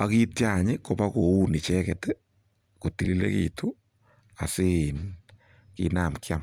Ak kiitya any ibakoun icheget ii kotililegitun asiin kinam kiam.